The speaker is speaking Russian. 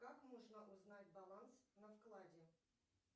как можно узнать баланс на вкладе